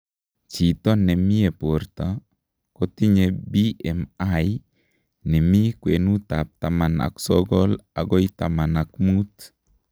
chito nemyee porta kotinye BMI nimi kwenutab taman ak sogol agoi taman ak mut